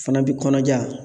Fana bi kɔnɔja